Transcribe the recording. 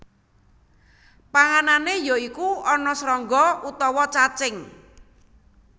Panganané ya iku ana srangga utawa cacing